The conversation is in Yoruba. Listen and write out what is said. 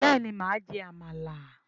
béèni ma jẹ àmàlà.